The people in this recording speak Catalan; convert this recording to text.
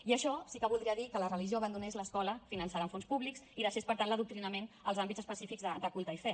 i això sí que voldria dir que la religió abandonés l’escola finançada amb fons públics i deixés per tant l’adoctrinament als àmbits específics de culte i fe